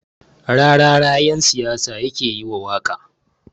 Rarara ƴan siyasa yake yiwa waƙa